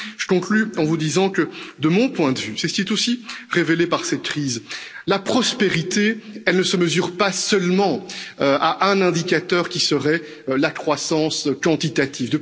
Et puis je conclus en vous disant que, de mon point de vue c'est ce qui est aussi révélé par cette crise la prospérité, elle ne se mesure pas seulement à un indicateur qui serait la croissance quantitative.